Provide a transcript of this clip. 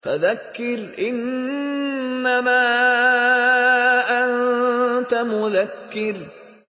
فَذَكِّرْ إِنَّمَا أَنتَ مُذَكِّرٌ